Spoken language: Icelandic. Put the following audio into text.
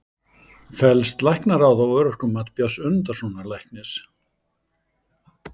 Fellst Læknaráð á örorkumat Björns Önundarsonar læknis?